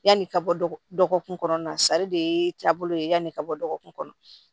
Yanni ka bɔ dɔgɔkun kɔnɔ sari de taabolo ye yani ka bɔ dɔgɔkun kɔnɔ